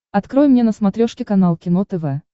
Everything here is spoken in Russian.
открой мне на смотрешке канал кино тв